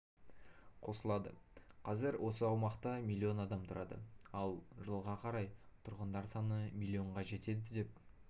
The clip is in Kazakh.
қосылады қазір осы аумақта миллион адам тұрады ал жылға қарай тұрғындар саны миллионға жетеді деп